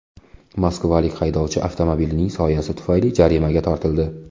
Moskvalik haydovchi avtomobilining soyasi tufayli jarimaga tortildi.